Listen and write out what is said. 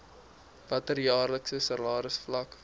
watter jaarlikse salarisvlak